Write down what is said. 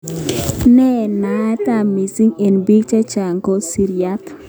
Ne naat missing eng bik cheechen ko siriat